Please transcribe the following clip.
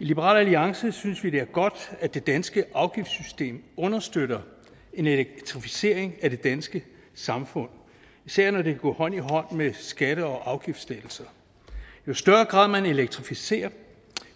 i liberal alliance synes vi det er godt at det danske afgiftssystem understøtter en elektrificering af det danske samfund især når det går hånd i hånd med skatte og afgiftslettelser jo større grad man elektrificerer i